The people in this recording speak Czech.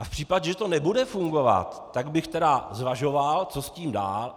A v případě, že to nebude fungovat, tak bych tedy zvažoval, co s tím dál.